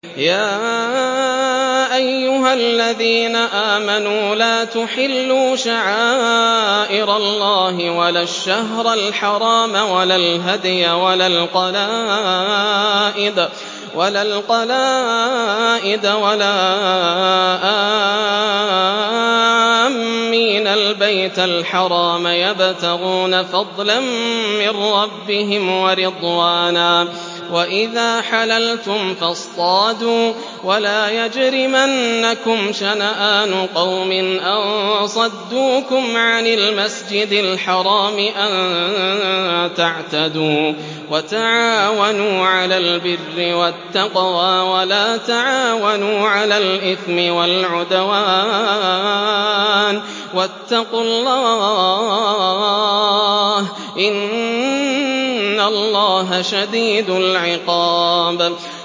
يَا أَيُّهَا الَّذِينَ آمَنُوا لَا تُحِلُّوا شَعَائِرَ اللَّهِ وَلَا الشَّهْرَ الْحَرَامَ وَلَا الْهَدْيَ وَلَا الْقَلَائِدَ وَلَا آمِّينَ الْبَيْتَ الْحَرَامَ يَبْتَغُونَ فَضْلًا مِّن رَّبِّهِمْ وَرِضْوَانًا ۚ وَإِذَا حَلَلْتُمْ فَاصْطَادُوا ۚ وَلَا يَجْرِمَنَّكُمْ شَنَآنُ قَوْمٍ أَن صَدُّوكُمْ عَنِ الْمَسْجِدِ الْحَرَامِ أَن تَعْتَدُوا ۘ وَتَعَاوَنُوا عَلَى الْبِرِّ وَالتَّقْوَىٰ ۖ وَلَا تَعَاوَنُوا عَلَى الْإِثْمِ وَالْعُدْوَانِ ۚ وَاتَّقُوا اللَّهَ ۖ إِنَّ اللَّهَ شَدِيدُ الْعِقَابِ